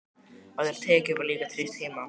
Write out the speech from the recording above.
Á þær tekjur var líka treyst heima.